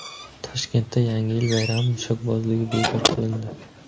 Toshkentda Yangi yil bayrami mushakbozligi bekor qilindi.